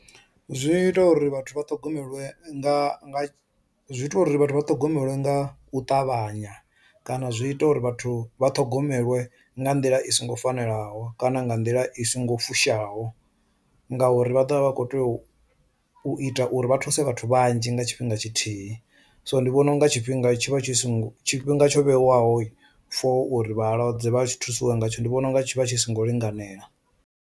Zwi ita uri vhathu vha ṱhogomelwe nga zwi ita uri vhathu vha ṱhogomelwe nga u ṱavhanya kana zwi ita uri vhathu vha ṱhogomelwe nga nḓila i songo fanelaho kana nga nḓila i songo fushaho ngauri vha ḓovha vha kho tea u ita uri vha thuse vhathu vhanzhi nga tshifhinga tshithihi, so ndi vhona unga tshifhinga tshi vha tshi songo tshifhinga tsho vhewaho for uri vhalwadze vha tshi thusiwe ngatsho ndi vhona unga tshi vha tshi songo linganela.